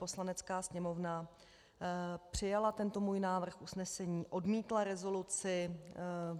Poslanecká sněmovna přijala tento můj návrh usnesení, odmítla rezoluci.